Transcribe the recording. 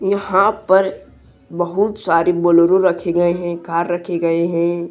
यहां पर बहुत सारी बोलेरो रखे गए हैं कार रखे गए हैं।